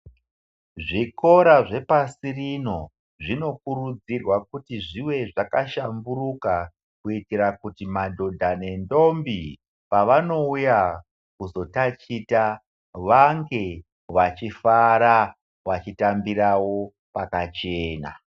Zvikora zvepasi rino zvinokurudzirwa kuti zvive zvakahlamburuka kuitira kuti madhodha nendombi pavanouya kuzotachita vange vachifara, vachitambirawo pakachena.